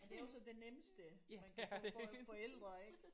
Ja det er også det nemmeste man kan få for forældre ik